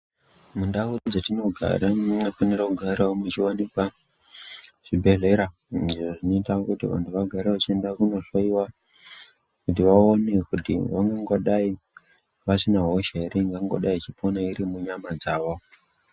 Mundau dzetinogara munofanira kugarawo muchiwanikwa zvibhehlera izvo zvinoita kuti vanhu vagare vachienda kunohlowiwa kuti vaone kuti vangangodai vasina hosha ere ingangodai ichipona iri munyama dzavo.